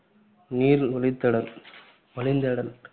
நீர், வழித்தேடல்~ வழிந்தேடல்.